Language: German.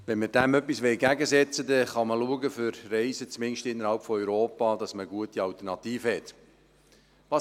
Wenn man dem etwas entgegensetzen will, kann man schauen, dass man für Reisen – zumindest in Europa – gute Alternativen hat.